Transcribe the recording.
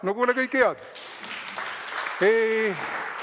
No kuule, kõike head!